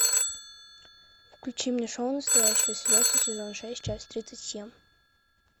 включи мне шоу настоящие слезы сезон шесть часть тридцать семь